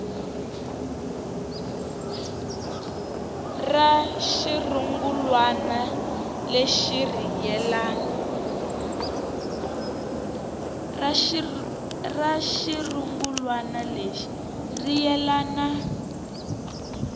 ra xirungulwana lexi ri yelana